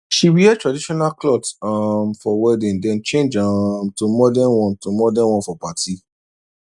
she wear traditional cloth um for wedding then change um to modern one to modern one for party